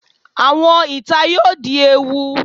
Awọn ita yoo di ewu